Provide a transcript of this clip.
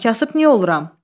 Kasıb niyə oluram?